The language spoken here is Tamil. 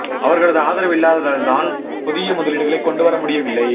அவர்களது ஆதரவு இல்லாததால் தான் புதிய முதலீடுகளைக் கொண்டு வர முடியவில்லை